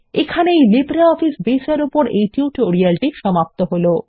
এখানেই LibreOffice Base এর উপর এই টিউটোরিয়ালটি সমাপ্ত হলো